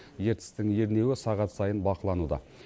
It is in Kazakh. ертістің ернеуі сағат сайын бақылануда